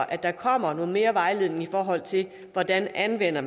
at der kommer noget mere vejledning i forhold til hvordan man anvender